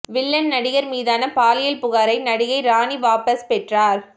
villain நடிகர் மீதான பாலியல் புகாரை நடிகை ராணி வாபஸ் பெற்றார்